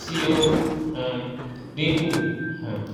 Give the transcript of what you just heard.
tí ó ń um dínkù um